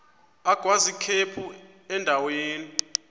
agwaz ikhephu endaweni